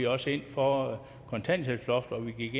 også ind for kontanthjælpsloftet og vi gik